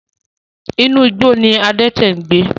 Inú igbó ní adẹ́tẹ̀ ń gbẹ